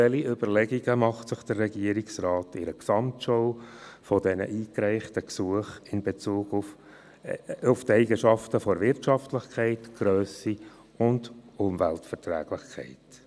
Welche Überlegungen macht sich der Regierungsrat im Rahmen einer Gesamtschau dieser eingereichten Gesuche in Bezug auf die Eigenschaften Wirtschaftlichkeit, Grösse und Umweltverträglichkeit?